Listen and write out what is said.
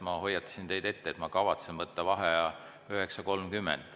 Ma hoiatasin teid ette, et ma kavatsen võtta vaheaja kell 9.30.